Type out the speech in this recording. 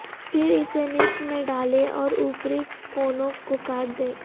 پھر اسے نصف میں ڈالیں اور اوپری کونوں کو کاٹ دیں